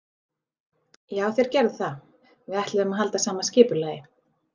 Já þeir gerðu það, við ætluðum að halda sama skipulagi.